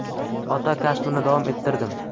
Ota kasbini davom ettirdim.